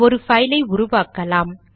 ஒரு பைல் ஐ உருவாக்கலாம்